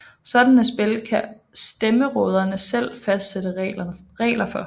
Sådanne spil kan stammeråderne selv fastsætte regler for